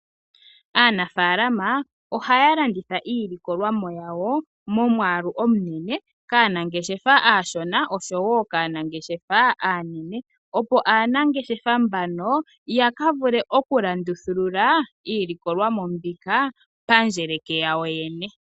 Aanafalama ohaya landitha iilikolomwa yayo momwaalu omunene kaanangeshefa aashona, oshowo kaanangeshefa aanene opo aanangeshefa mbano yakavule okulandithulula iilikolomwa mbika pandjele yawo yene.